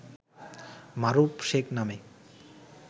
মারুফ শেখ নামে